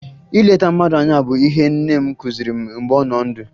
Ileta mmadụ anya bụ ihe nne m kụziri m mgbe ọ nọ ndụ